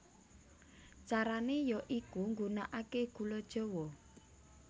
Carane ya iku nggunakake gula jawa